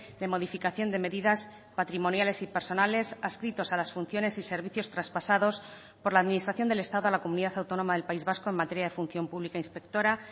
de modificación de medidas patrimoniales y personales adscritos a las funciones y servicios traspasados por la administración del estado a la comunidad autónoma del país vasco en materia de función pública inspectora